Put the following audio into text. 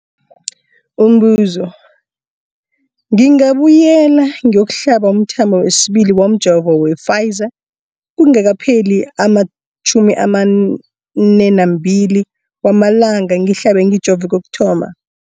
Umbuzo, ngingabuyela ngiyokuhlaba umthamo wesibili womjovo we-Pfizer kungakapheli ama-42 wamalanga ngihlabe, ngijove kokuthoma.